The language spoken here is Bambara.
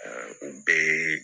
u bɛɛ ye